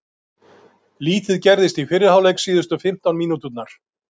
Lítið gerðist í fyrri hálfleik síðustu fimmtán mínúturnar.